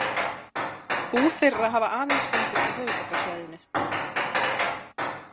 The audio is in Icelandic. Bú þeirra hafa aðeins fundist á höfuðborgarsvæðinu.